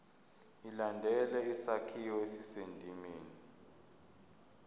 ilandele isakhiwo esisendimeni